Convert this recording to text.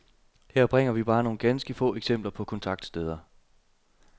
Her bringer vi bare nogle ganske få eksempler på kontaktsteder.